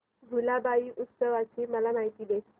भुलाबाई उत्सवाची मला माहिती दे